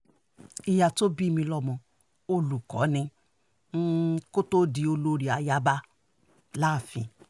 ìyá tó bí mi lọ́mọ olùkọ́ ni kó um tóó di olórí ayaba um láàfin